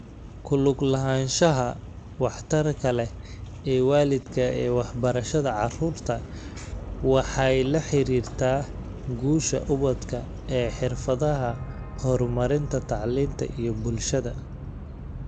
Ku lug lahaanshaha waxtarka leh ee waalidka ee waxbarashada carruurta waxay la xiriirtaa guusha ubadka ee xirfadaha horumarinta tacliinta iyo bulshada.